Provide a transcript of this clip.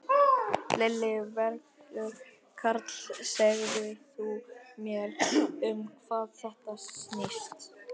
Lillý Valgerður: Karl, segð þú mér um hvað þetta snýst?